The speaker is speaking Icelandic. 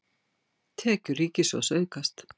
Tekjur ríkissjóðs aukast